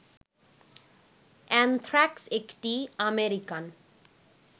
anthrax একটি American